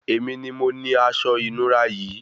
Èmi ni mo ni asọ ìnura yìí